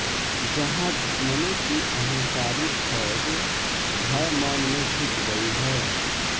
जहाँ दुश्मनों की अहंकारी फ़ौज भय मौन में झुक गयी है